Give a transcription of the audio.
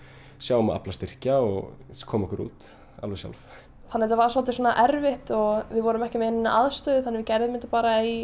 sjá um að afla styrkja og koma okkur út alveg sjálf þannig þetta var svolítið svona erfitt við vorum ekki með neina aðstöðu þannig við gerðum þetta bara í